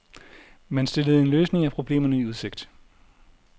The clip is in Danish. Man stillede en løsning af problemerne i udsigt.